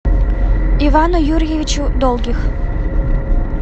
ивану юрьевичу долгих